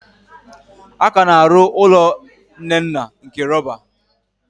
A ka na-arụ ụlọ Nnenna nke rọba.